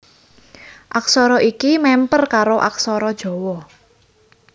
Aksara iki mèmper karo aksara Jawa